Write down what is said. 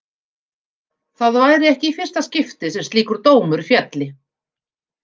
Það væri ekki í fyrsta skipti sem slíkur dómur félli.